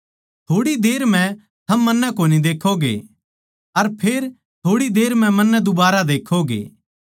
थोड़ी देर म्ह थम मन्नै कोनी देक्खोगे अर फेर थोड़ी देर म्ह मन्नै दुबारा देक्खोगे